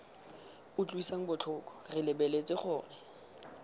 utlwisang botlhoko re lebeletse gore